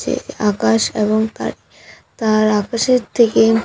চে আকাশ এবং তার তার আকাশের থেকে--